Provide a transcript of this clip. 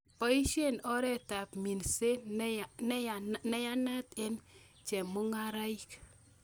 Boisien oretab minset neyanat en chemung'araik